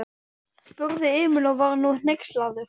spurði Emil og var nú hneykslaður.